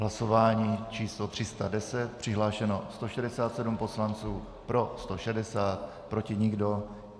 Hlasování číslo 310, přihlášeno 167 poslanců, pro 160, proti nikdo.